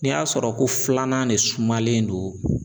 N'i y'a sɔrɔ ko filanan ne sumalen no